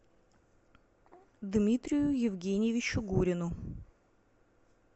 дмитрию евгеньевичу гурину